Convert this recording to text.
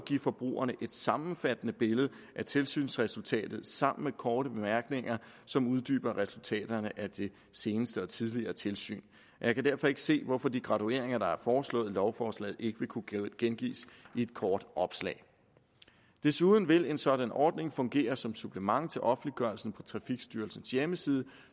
give forbrugerne et sammenfattende billede af tilsynsresultatet sammen med korte bemærkninger som uddyber resultaterne af det seneste og tidligere tilsyn jeg kan derfor ikke se hvorfor de gradueringer der er foreslået i lovforslaget ikke vil kunne gengives i et kort opslag desuden vil en sådan ordning fungere som supplement til offentliggørelsen på trafikstyrelsens hjemmeside